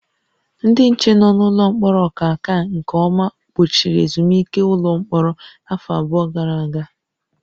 Ndị nche nọ n'ụlọ mkpọrọ Ọkaka nke ọma gbochiri ezumike ụlọ mkpọrọ afọ abụọ gara aga